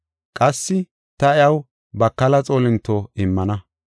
Qassi ta iyaw bakala xoolinto immana.